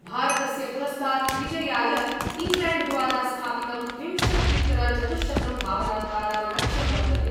भारतस्य पुरस्तात् विजयाय इङ्ग्लेण्ड्द्वारा स्थापितं विंशत्युत्तरचतुशतं धावनाङ्कानां लक्ष्यम् वर्तते।